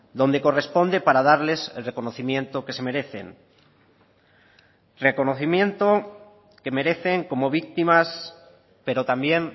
donde corresponde para darles el reconocimiento que se merecen reconocimiento que merecen como víctimas pero también